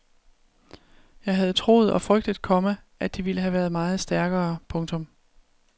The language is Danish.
Jeg havde troet og frygtet, komma at de ville have været meget stærkere. punktum